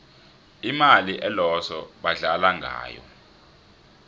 imali eloso badlala ngayo